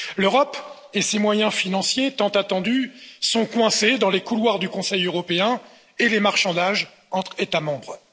L'Europe et ses moyens financiers tant attendus sont coincés dans les couloirs du Conseil européen et les marchandages entre États membres.